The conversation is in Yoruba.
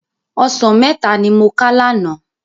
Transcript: Òsán mètá ni mó ká làná